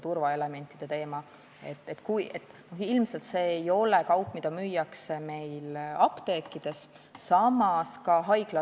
Ilmselt ei ole see kaup, mida meil apteekides müüakse.